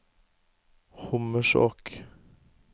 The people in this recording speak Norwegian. Hommersåk